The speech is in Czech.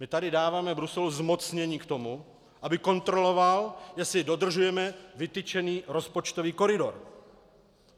My tady dáváme Bruselu zmocnění k tomu, aby kontroloval, jestli dodržujeme vytyčený rozpočtový koridor.